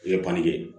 I ye